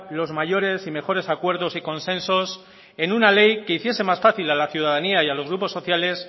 los mayores y mejores acuerdos y consensos en una ley que hiciese más fácil a la ciudadanía y a los grupos sociales